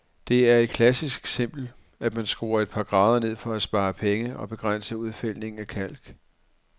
Det er et klassisk eksempel, at man skruer et par grader ned for at spare penge og begrænse udfældningen af kalk.